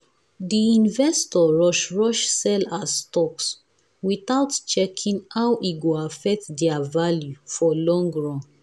the investor rush-rush sell her stocks without checking how e go affect their value for long run.